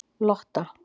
Lotta